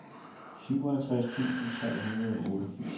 syvoghalvtreds tusind tre hundrede og otteogfirs